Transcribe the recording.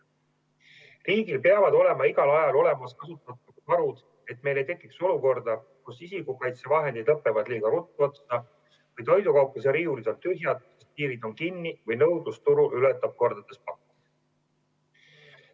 Riigil peavad olema igal ajal olemas kasutamata varud, et meil ei tekiks olukorda, kus isikukaitsevahendid lõpevad liiga ruttu otsa, toidukaupluste riiulid on tühjad, piirid on kinni või nõudlus turul ületab kordades pakkumist.